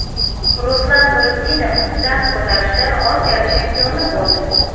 Ruslan Nuriddinov dast ko‘tarishda Osiyo chempioni bo‘ldi.